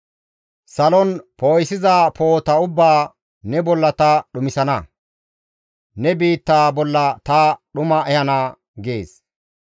Salon poo7isiza poo7ota ubbaa, ne bolla ta dhumisana; ne biittaa bolla ta dhuma ehana› gees.